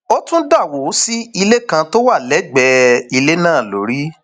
ó tún dà wó sí ilé kan tó wà lẹgbẹẹ ilé náà lórí